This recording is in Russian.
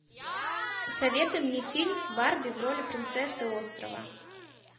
посоветуй мне фильм барби в роли принцессы острова